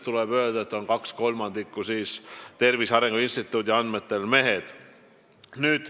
Tuleb öelda, et 2/3 neist on Tervise Arengu Instituudi andmetel mehed.